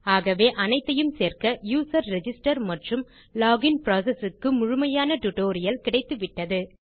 ஆகவே அனைத்தையும் சேர்க்க யூசர் ரிஜிஸ்டர் மற்றும் லோகின் புரோசெஸ் க்கு முழுமையான டுடோரியல் கிடைத்துவிட்டது